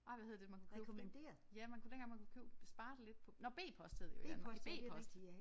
Ej hvad hed det man kunne købe fri ja man kunne dengang man kunne købe spare det lidt på nåh b-post hed det jo i Danmark i b-post